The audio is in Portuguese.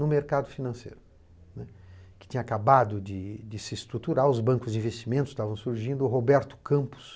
No mercado financeiro, né, que tinha acabado de de se estruturar, os bancos de investimentos estavam surgindo, o Roberto Campos,